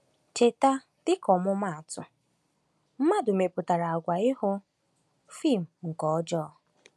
Cheta, dịka ọmụmaatụ, mmadụ mepụtara àgwà ịhụ fim nke ọjọọ.